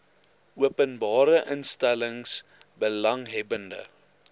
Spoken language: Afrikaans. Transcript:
openbare instellings belanghebbende